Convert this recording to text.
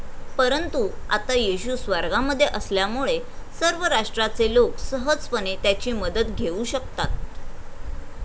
परंतु आता येशू स्वर्गामध्ये असल्यामुळे सर्व राष्ट्राचे लोक सहजपणे त्याची मदत घेऊ शकतात.